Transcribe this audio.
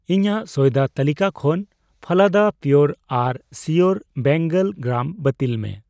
ᱤᱧᱟᱜ ᱥᱚᱭᱫᱟ ᱛᱟᱹᱞᱤᱠᱟ ᱠᱷᱚᱱ ᱯᱷᱟᱞᱟᱫᱟ ᱯᱤᱭᱳᱨ ᱟᱨ ᱥᱤᱭᱳᱨ ᱵᱮᱝᱜᱚᱞ ᱜᱨᱟᱢ ᱵᱟᱹᱛᱤᱞ ᱢᱮ ᱾